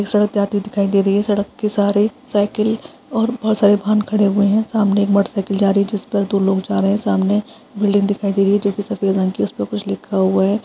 सड़क जाति हुई दिखाई दे रही है सड़क के सहारे साईकिल और बहुत सारे वाहन खडे हुए है| सामने एक मोटर साईकिल जा रही है जिसपर दो लोग जा रहे है सामने एक बिल्डिंग दिखाई दे रही है जो सफेद रंग की है उस पर कुछ लिखा हुआ है।